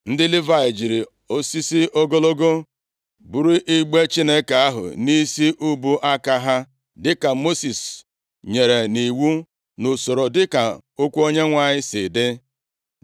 Ndị Livayị jiri osisi ogologo buru igbe Chineke ahụ nʼisi ubu aka ha dịka Mosis nyere nʼiwu nʼusoro dịka okwu Onyenwe anyị si dị.